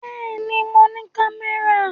Bẹ́ẹ̀ ni, mo ní kámẹ́rà.